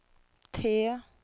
T